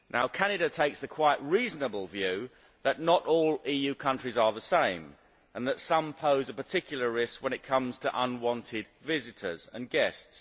Canada takes the quite reasonable view that not all EU countries are the same, and that some pose a particular risk when it comes to unwanted visitors and guests.